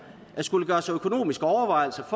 at skulle gøre sig økonomiske overvejelser